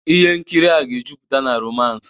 Ihe nkiri a ga-ejupụta na romance